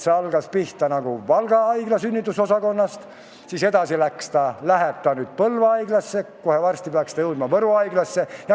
See algas pihta Valga haigla sünnitusosakonnast, edasi läheb ta Põlva haiglasse ja kohe varsti peaks ta jõudma Võru haiglasse.